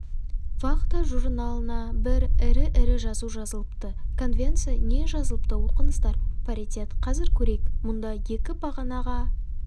вахта журналына бір ірі-ірі жазу жазылыпты конвенция не жазылыпты оқыңыздар паритет қазір көрейік мұнда екі бағанаға